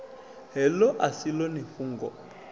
heḽo a si ḽone fhungo